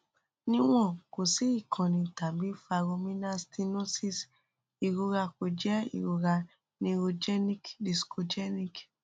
niwon ko si ikanni tabi foraminal stenosis irora ko jẹ irora neurogenic discogenic